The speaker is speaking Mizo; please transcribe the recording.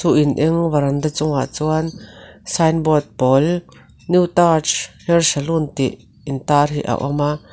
in eng veranda chungah chuan sign board pawl new taj hair salon tih intar hi a awm a--